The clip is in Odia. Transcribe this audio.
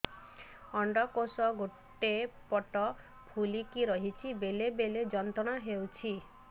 ଅଣ୍ଡକୋଷ ଗୋଟେ ପଟ ଫୁଲିକି ରହଛି ବେଳେ ବେଳେ ଯନ୍ତ୍ରଣା ହେଉଛି